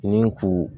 Ni kuru